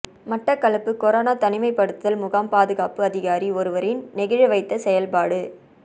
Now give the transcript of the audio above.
Batticaloa corona தனிமைபடுத்தல் முகாம் பாதுகாப்பு அதிகாரி ஒருவரின் நெகிழவைத்த செயல்பாடு